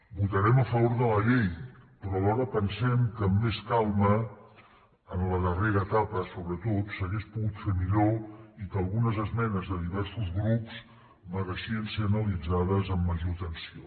votarem a favor de la llei però alhora pensem que amb més calma en la darrera etapa sobretot s’hauria pogut fer millor i que algunes esmenes de diversos grups mereixien ser analitzades amb més atenció